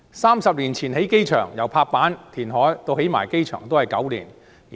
三十年前興建新機場，由拍板、填海到新機場落成只需9年。